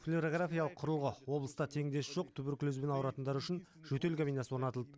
флюорографиялық құрылғы облыста теңдесі жоқ туберкулезбен ауыратындар үшін жөтел кабинасы орнатылды